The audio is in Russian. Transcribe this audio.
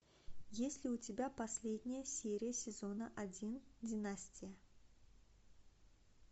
есть ли у тебя последняя серия сезона один династия